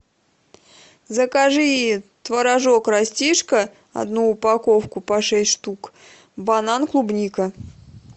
закажи творожок растишка одну упаковку по шесть штук банан клубника